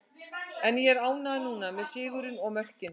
En ég er ánægður núna, með sigurinn og mörkin.